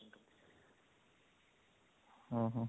ହଁ ହଁ